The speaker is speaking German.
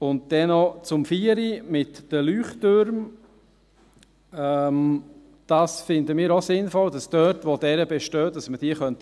Dann noch zum Punkt 4 mit den Leuchttürmen: Wir finden es auch sinnvoll, dass man dort, wo solche bestehen, pflegen könnte.